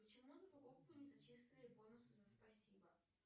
почему за покупку не зачислили бонусы за спасибо